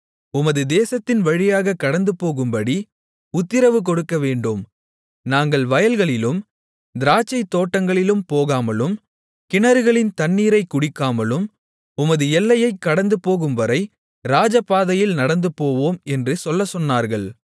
உமது தேசத்தின் வழியாகக் கடந்துபோகும்படி உத்திரவு கொடுக்கவேண்டும் நாங்கள் வயல்களிலும் திராட்சைத்தோட்டங்களிலும் போகாமலும் கிணறுகளின் தண்ணீரைக் குடிக்காமலும் உமது எல்லையைக் கடந்துபோகும்வரை ராஜபாதையில் நடந்துபோவோம் என்று சொல்லச்சொன்னார்கள்